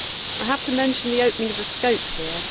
I have to mention the opening of the scope here.